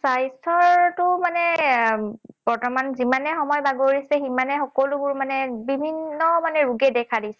স্বাস্থ্যৰতো মানে বৰ্তমান যিমানে সময় বাগৰিছে, সিমানে সকলোবোৰ মানে বিভিন্ন ৰোগে দেখা দিছে।